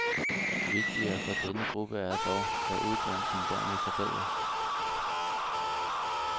Vigtigere for denne gruppe er dog, at uddannelsen dermed forbedres.